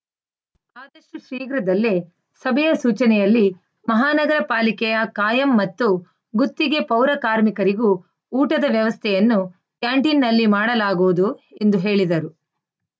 ಆದಷ್ಟುಶೀಘ್ರದಲ್ಲೇ ಸಭೆಯ ಸೂಚನೆಯಲ್ಲಿ ಮಹಾನಗರ ಪಾಲಿಕೆಯ ಕಾಯಂ ಮತ್ತು ಗುತ್ತಿಗೆ ಪೌರ ಕಾರ್ಮಿಕರಿಗೂ ಊಟದ ವ್ಯವಸ್ಥೆಯನ್ನು ಕ್ಯಾಂಟೀನಲ್ಲಿ ಮಾಡಲಾಗುವುದು ಎಂದು ಹೇಳಿದರು